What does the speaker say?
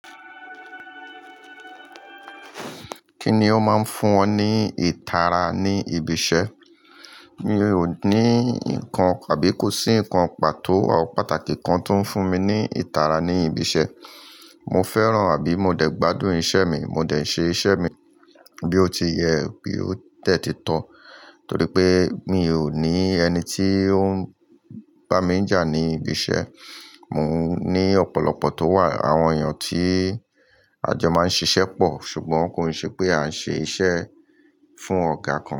Kíni ó máa ń fún ọ ní ìtara ní ibi iṣẹ́? Mi ò ní nǹkan àbí kò sí nǹkan pàtó tabi pàtàkì kan tó ń fún mi ní ìtara ní ibi iṣẹ́. Mo fẹ́ràn àbí mo dẹ̀ gbádùn iṣẹ́ mi, mo dẹ̀ ṣe iṣẹ́ mi bí ó ti yẹ, bí ó tẹ́ titọ́ torí pé mi ò ní ẹni tí ó ń bá mi jà ní ibi iṣẹ́. Mò ń ní ọ̀pọ̀lọpọ̀ tó wà, àwọn èèyàn tí a jọ máa ń ṣiṣẹ́ pọ̀ ṣùgbọ́n kò ṣe pé à ń ṣe iṣẹ́ fún ọ̀gá kan.